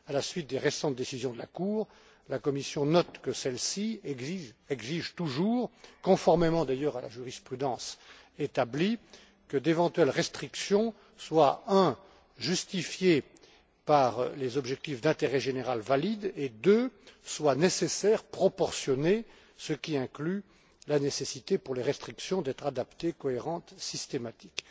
À la suite des récentes décisions de la Cour, la Commission note que celle ci exige toujours, conformément d'ailleurs à la jurisprudence établie, que d'éventuelles restrictions soient, premièrement, justifiées par des objectifs d'intérêt général valides et, deuxièmement, soient nécessaires et proportionnées, ce qui inclut la nécessité, pour les restrictions, d'être adaptées, cohérentes et systématiques.